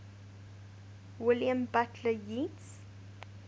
william butler yeats